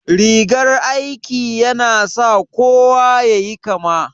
Rigar aiki ya na sa kowa yayi kama?